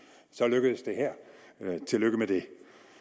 så lykkedes det her tillykke med det